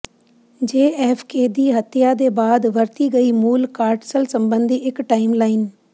JFK ਦੀ ਹੱਤਿਆ ਦੇ ਬਾਅਦ ਵਰਤੀ ਗਈ ਮੂਲ ਕਾਟਸਲ ਸੰਬੰਧੀ ਇੱਕ ਟਾਈਮਲਾਈਨ